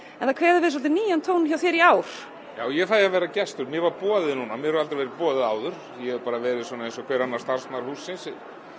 en það kveður við svolítið nýjan tón hjá þér í ár já ég fæ að vera gestur mér var boðið núna mér hefur aldrei verið boðið áður ég hef bara verið eins og hver annars starfsmaður hússins